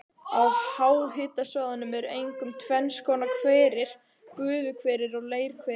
Á háhitasvæðunum eru einkum tvenns konar hverir, gufuhverir og leirhverir.